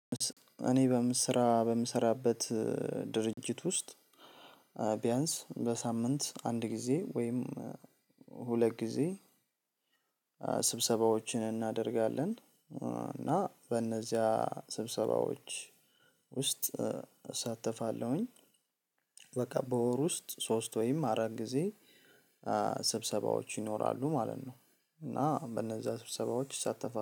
እኔ በምሰራ በምሰራበት ድርጅት ውስጥ ቢያንስ በሳምንት አንድ ጊዜ ወይም ሁለት ጊዜ ስብሰባዎችን እናደርጋለን እና በእነዚያ ስብሰባዎች ውስጥ እሳተፋለሁኝ። በቃ በወር ውስጥ ሶስት ወይም አራት ጊዜ ስብሰባዎች ይኖራሉ ማለት ነው። እና በእነዛ ስብሰባዎች እሳተፋለሁ